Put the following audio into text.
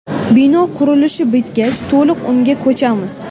Bino qurilishi bitgach to‘liq unga ko‘chamiz.